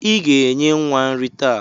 Ị ga-enye nwa nrị taa.